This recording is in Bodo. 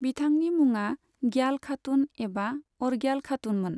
बिथांनि मुङा ग्याल खातुन एबा अर्ग्याल खातुममोन।